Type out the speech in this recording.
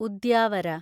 Udyavara